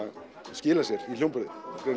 skilar sér í hljómburði